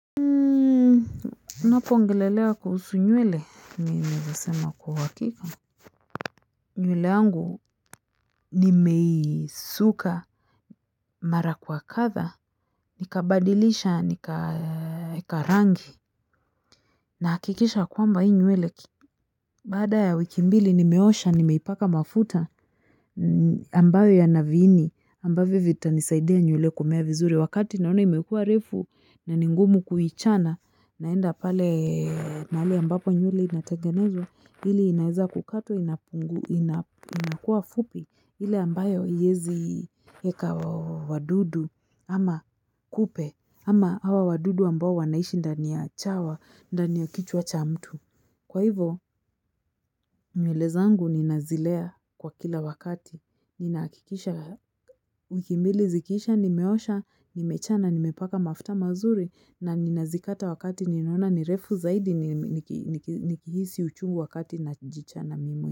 Unapoongelelea kuhusu nyuele, nimezasema kuhakika. Nyuele yangu, nimeisuka mara kwa katha, nikabadilisha, nikaeka rangi, nahakikisha kwamba hii nyuele. Baada ya wiki mbili, nimeosha, nimeipaka mafuta ambayo ya navini, ambayo vita nisaidea nyuele kumea vizuri. Wakati naona imekua refu na ningumu kuhichana naenda pale mahali ambapo nywele inatengenezwa hili inaeza kukatwa inakua fupi hile ambayo iezi heka wadudu ama kupe ama hawa wadudu ambao wanaishi ndani ya chawa ndani ya kichwa cha mtu. Kwa hivo, nywele zangu ninazilea kwa kila wakati. Ninaakikisha, wiki mbili zikisha, nimeosha, nimechana nimepaka mafta mazuri na nina zikata wakati ninaona nirefu zaidi nikihisi uchungu wakati najichana mimi.